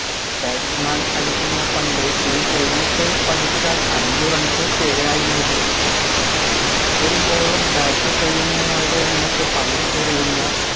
batsman അടിക്കുന്ന പന്ത് ഈ helmet പതിച്ചാൽ അഞ്ച് runs പിഴയായി നൽകും ഒരു bowler bat ചെയ്യുന്നയാളുടെ നേർക്ക് പന്ത് എറിയുന്ന